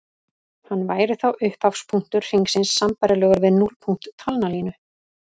Hann væri þá upphafspunktur hringsins sambærilegur við núllpunkt talnalínu.